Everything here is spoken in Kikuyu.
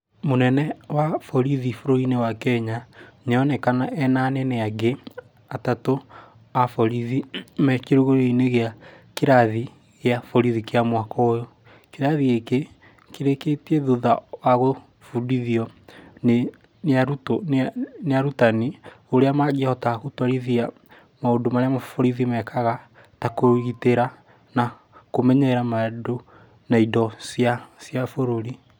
Mũnene wa borithi wa bũrũri wa Kenya nĩ aronekana arĩ na anene angĩ atatũ aborithi marĩ kirugũrio gĩa kĩrathi kĩa borithi kĩa mwaka ũyũ. Kĩrathi gĩkĩ kĩrĩkĩtio thutha wa gũbundithio nĩ arutani ũrĩa mangĩhota maũndũ marĩa borithi mangĩhota kũgirĩra na kũmenyerera indo cia bũrũri